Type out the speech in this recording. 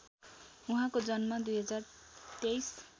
उहाँको जन्म २०२३